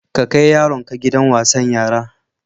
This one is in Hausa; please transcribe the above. Ka kai yaronka gidan wasan yara.